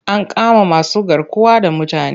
An kama masugarkuwa da mutane.